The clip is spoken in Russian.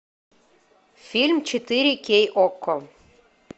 фильм четыре кей окко